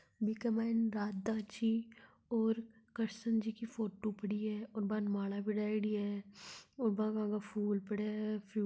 बीके मायने राधा जी और कृष्ण जी की फोटो पड़ी है और बान माला परयोड़ी है और बाके आगे फुल पड़े है।